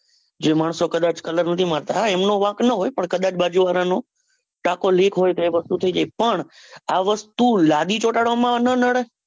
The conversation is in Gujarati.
એ માણસો કદાચ colour નથી મારતા હા એમનો વાંક ના હોય પણ કદાચ બાજુવાળાનો ટાંકો લીક હોય તો એ વસ્તુ થઇ જાય પણ આ વસ્તુ લાદી ચોંટાડવામાં ના નડે.